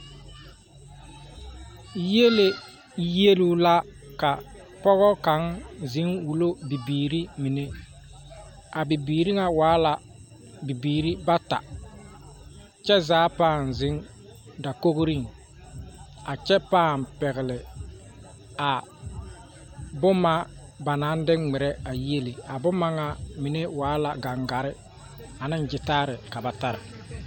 Yiele yieluu la ka pɔgɔ kaŋa ziŋ wullo bibiiri mine ,a bibiiri waala bibiiri bata kyɛ zaa ziŋ la dakogriŋ a kyɛ paŋ pɛgli a boma ba naŋ de ŋmeɛrɛ a yiele a boma mine waala gaŋgare ane gyitare ka ba tare.